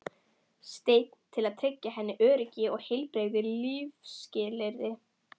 stein til að tryggja henni öryggi og heilbrigð lífsskilyrði.